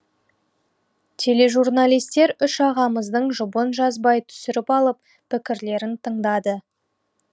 тележурналистер үш ағамыздың жұбын жазбай түсіріп алып пікірлерін тыңдады